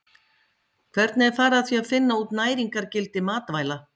Hvernig er farið að því að finna út næringargildi matvæla?